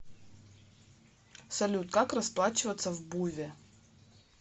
салют как расплачиваться в буве